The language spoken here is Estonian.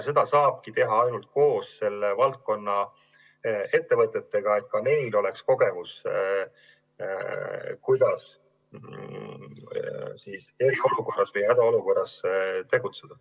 Seda saabki teha koos konkreetse valdkonna ettevõtjatega, et ka neil oleks kogemus, kuidas hädaolukorras või mingis muus olukorras tegutseda.